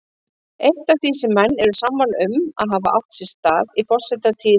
Eitt af því sem menn eru sammála um að hafi átt sér stað í forsetatíð